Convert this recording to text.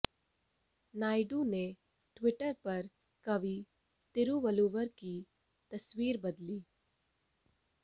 नायडू ने ट्विटर पर कवि तिरुवल्लुवर की तस्वीर बदली